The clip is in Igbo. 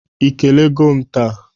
Ị kelego m taa?